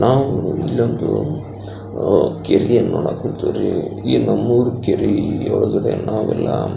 ನಾವು ಇಲ್ಲಿ ಒಂದು ಕೆರೆಯನ್ನ ನೋಡಾಕ ಹೊಂತಿವಿ ರೀ ಈ ನಮ್ಮೂರ ಕೆರೆಯೋಳಗಡೆ ನಾವೆಲ್ಲ--